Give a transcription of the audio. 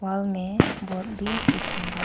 hall में board भी दिखाई दे रहा--